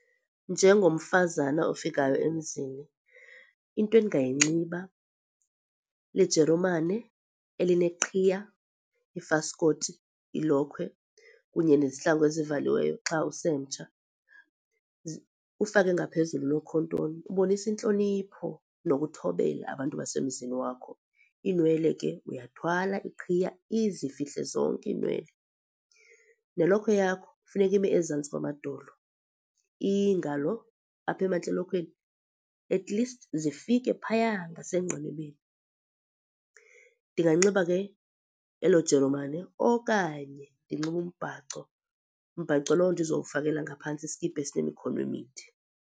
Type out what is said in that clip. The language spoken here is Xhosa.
Njengomfazana ofikayo emzini into endingayinxiba lijerumane elineqhiya, ifaskoti, ilokhwe kunye nezihlangu ezivaliweyo xa usemtsha. Ufake ngaphezulu unokhontoni, ubonisa intlonipho nokuthobela abantu basemzini wakho. Iinwele ke uyathwala iqhiya izifihle zonke iinwele. Nelokhwe yakho funeka ime ezantsi kwamadolo, iingalo apha emantla elokhweni, atleast zifike phaya ngasengqinibeni. Ndinganxiba ke elo jeromane okanye ndinxibe umbhaco, mbhaco lowo endizowufakela ngaphantsi iskipa esinemikhono emide.